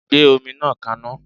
Gbé omi náà kaná.!